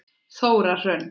Þóra Hrönn.